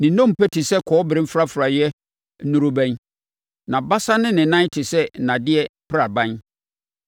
Ne nnompe te sɛ kɔbere mfrafraeɛ nnorobɛn, nʼabasa ne ne nan te sɛ nnadeɛ praban.